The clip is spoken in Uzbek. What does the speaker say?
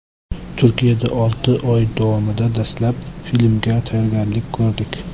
Turkiyada olti oy davomida dastlab filmga tayyorgarlik ko‘rdik.